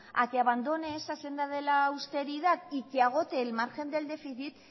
a que abandone esa senda de la austeridad y que agote el margen del déficit